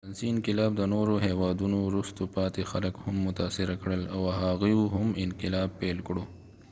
د فرانسې انقلاب د نورو هیوادونو وروسته پاتې خلک هم متاثره کړل او هغوی هم انقلاب پيل کړل